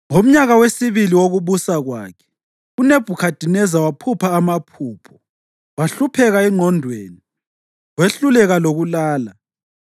Ngomnyaka wesibili wokubusa kwakhe, uNebhukhadineza waphupha amaphupho; wahlupheka engqondweni, wehluleka lokulala.